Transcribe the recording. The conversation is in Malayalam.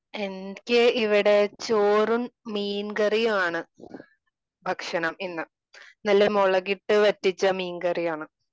എനിക്ക് ഇവിടെ ചോറും മീൻ കറിയുമാണ് ഭക്ഷണം ഇന്ന് . നല്ല മുളകിട്ട് വറ്റിച്ച മീൻകാരിയാണ്.